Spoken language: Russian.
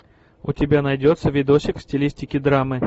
у тебя найдется видосик в стилистике драмы